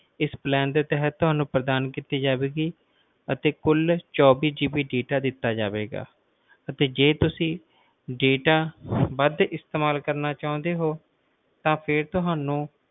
ਇਸ plan ਦੇ ਤਹਿਤ ਤੁਹਾਨੂੰ ਪ੍ਰਦਾਨ ਕੀਤੀ ਜਾਵੇਗੀ ਅਤੇ ਚੌਬੀਸ GB data ਦਿੱਤਾ ਜਾਵੇਗਾ ਤੇ ਜੇ ਤੁਸੀਂ data ਵੱਧ ਇਸਤੇਮਾਲ ਕਰਨਾ ਚਾਹੁੰਦੇ ਹੋ ਤਾਂ ਫੇਰ ਤੁਹਾਨੂੰ